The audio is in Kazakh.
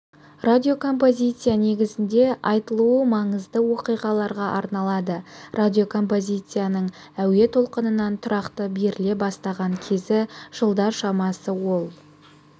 радиокомпозиция негізінде айтулы маңызды оқиғаларға арналады радиокомпозицияның әуе толқынынан тұрақты беріле бастаған кезі жылдар шамасы ол